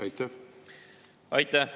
Aitäh!